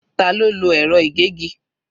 Ta ló lo ẹ̀rọ ìgégi?